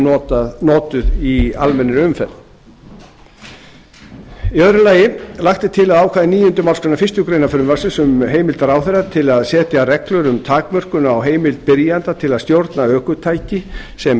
klukkustund eru notuð í almennri umferð annars lagt er til að ákvæði níundi málsgrein fyrstu grein frumvarpsins um heimild ráðherra til að setja reglur um takmörkun á heimild byrjanda til að stjórna ökutæki sem